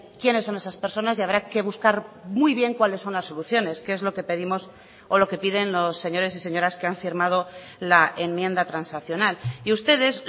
quiénes son esas personas y habrá que buscar muy bien cuáles son las soluciones que es lo que pedimos o lo que piden los señores y señoras que han firmado la enmienda transaccional y ustedes